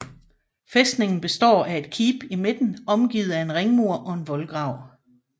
Fæstningen består af et keep i midten omgivet af en ringmur og en voldgrav